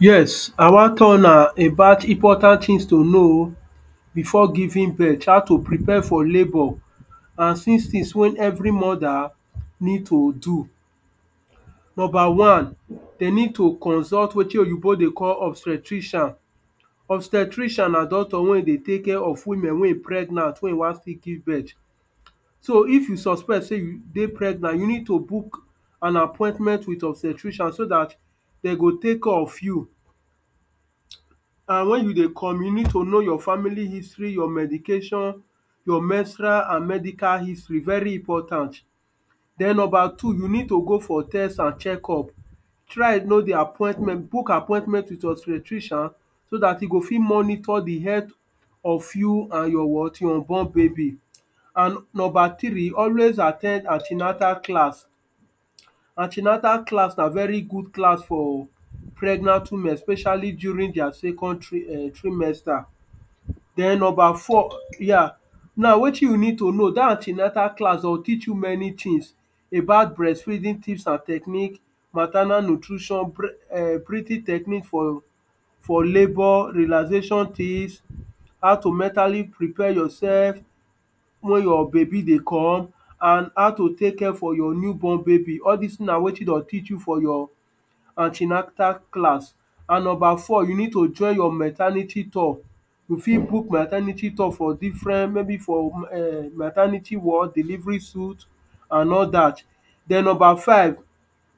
Yes, I wan tell huna about important things to know before giving birth, how to prepare for labor and since six things wey every mother needs to do. Number one, they need to consult wetin oyinbo dey call obstetrician. Obstetrician na doctors wey dey take care of women wey e pregnant, wey wan still give birth. So if you suspect sey you dey pregnant, you need to book an appointment with obstetrician so dat they go take care of you. And when you dey come, you need to know your family history, your medication, your menstrual and medical history, very important Then number two, you need to go for tests and check up. Try know the appointment, book appointment with obstetrician so dat e go fit monitor the health of you and your what? Your unborn baby. And number three, always at ten d an ten atal class. An ten atal class na very good class for pregnant women, especially during their second tri erm trimester. Den number four, yeah, now wetin you need to know, dat an ten atal class dem go teach you many things about breastfeeding tips and techniques, maternal nutrition, breath er breathing techniques for for labor, realization tips, how to mentally prepare yourself when your baby they come, and how to take care for your new born baby. All dese things na wetin dem go teach you for an ten atal class. And number four, you need to join your maternity tour. You fit book maternity tour for different, maybe for erm for maternity ward, delivery suit, and all dat. Den number five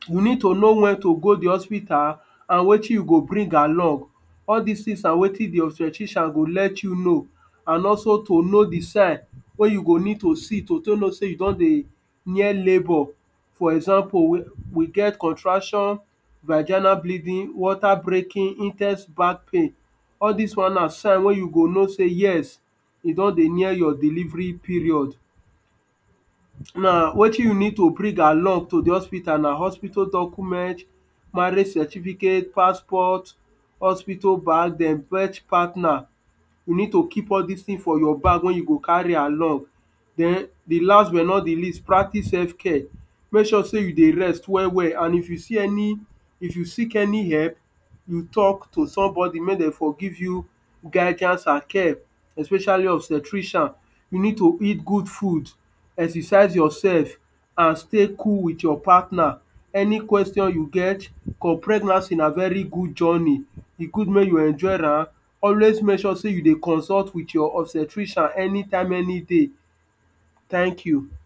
you need to know when to go the hospital and wetin you go bring along. All these things na wetin the obstetrician go let you know. And also to know the sign, wey you go need to see to take know sey you don dey near labor. For example, we we get contraction, vaginal bleeding, water breaking, in ten se back pain. All dese ones na signs wey you go know sey yes, you don dey near your delivery period. Now, wetin you need to bring along to the hospital na? Hospital documents, marriage certificate, passport, hospital bag, then birth partner. You need to keep all these things for your bag when you go carry along. Den the last but not the least, practice self-care. Make sure sey you dey rest well well, and if you see any, if you seek any help, you talk to somebody may they forgive you guidance and care, especially obstetrician. You need to eat good food, exercise yourself, and stay cool with your partner. Any question you get, cos pregnancy na very good journey. E good make you enjoy am. Always make sure sey you dey consult with your obstetrician any time, any day. Thank you.